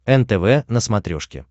нтв на смотрешке